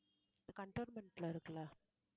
cantonment ல இருக்குல்ல